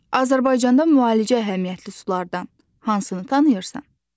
Azərbaycanda müalicə əhəmiyyətli sulardan hansını tanıyırsan?